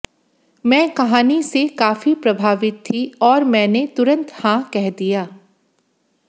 मैं कहानी से काफी प्रभावित थी और मैंने तुरंत हां कह दिया